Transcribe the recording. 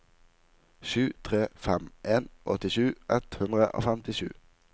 sju tre fem en åttisju ett hundre og femtisju